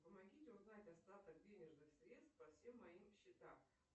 помогите узнать остаток денежных средств по всем моим счетам